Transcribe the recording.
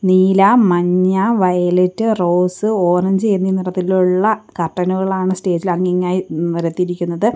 നീല മഞ്ഞ violet rose orange എന്നീ നിറത്തിലുള്ള കർട്ടനുകളാണ് സ്റ്റേജ് ഇൽ അങ്ങിങ്ങായി നിരത്തിയിരിക്കുന്നത്.